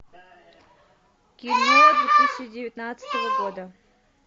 кино две тысячи девятнадцатого года